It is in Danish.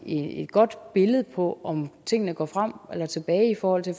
et godt billede på om tingene går frem eller tilbage i forhold til